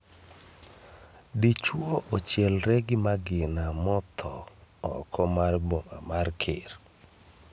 Dichuo ochielre gi magina motho oko mar boma mar ker